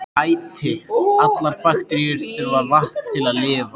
Æti: allar bakteríur þurfa vatn til að lifa.